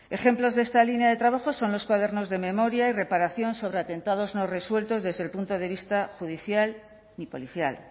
ejemplos de esta línea de trabajo son los cuadernos de memoria y reparación sobre atentados no resueltos desde el punto de vista ni judicial ni policial